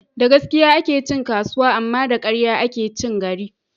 Da gaskiya ake cin kasuwa, amma da ƙarya ake cin gari